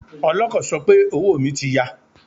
Ọlọ́kọ̀ sọ pé owó mi ti ya.